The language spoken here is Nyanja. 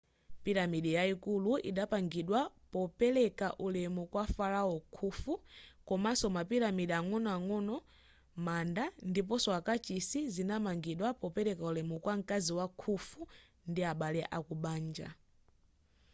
piramidi yayikulu idapamangidwa popereka ulemu kwa farao khufu komanso mapiramidi ang'onoang'ono manda ndiponso akachisi zidamangidwa popereka ulemu kwa mkazi wa khufu ndi abale akubanja